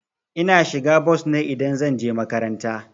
Ina shiga bos ne idan zan je makaranta.